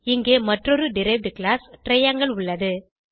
இங்கே மற்றொரு derived class triangle உள்ளது